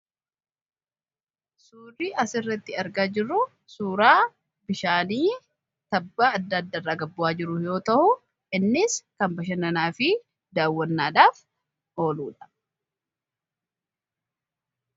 suuraa as irratti argaa jirru suuraa bishaanii tabbaa adda addarraa gabbu'aa jiru yoo ta'u innis kan bashannanaa fi daawwannaadhaaf oluudha